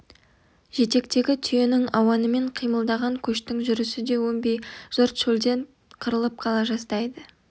жетектегі түйенің ауанымен қимылдаған көштің жүрісі де өнбей жұрт шөлден қырылып қала жаздайды